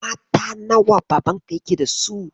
Mata nawa Babanka yake da su?